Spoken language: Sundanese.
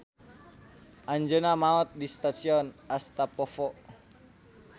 Anjeunna maot di stasion Astapovo.